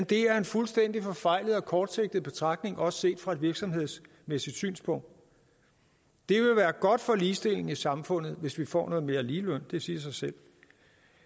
det er en fuldstændig forfejlet og kortsigtet betragtning også set fra et virksomhedsmæssigt synspunkt det vil være godt for ligestillingen i samfundet hvis vi får noget mere ligeløn det siger sig selv